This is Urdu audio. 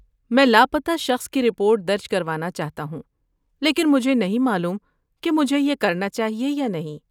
میں لاپتہ شخص کی رپورٹ درج کروانا چاہتا ہوں لیکن مجھے نہیں معلوم کہ مجھے یہ کرنا چاہیے یا نہیں۔